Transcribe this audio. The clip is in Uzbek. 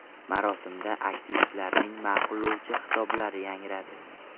Marosimda aktivistlarning ma’qullovchi xitoblari yangradi.